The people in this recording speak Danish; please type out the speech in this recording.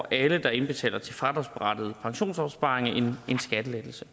alle der indbetaler til fradragsberettigede pensionsopsparinger en skattelettelse